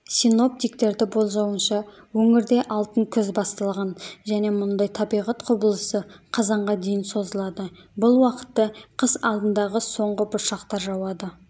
синоптиктерді болжауынша өңірде алтын күз басталған және мұндай табиғат құбылысы қазанға дейін созылады бұл уақытта қыс алдындағы соңғы бұршақтар жауады